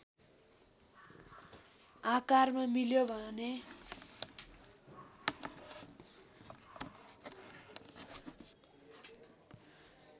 आकारमा मिल्यो भने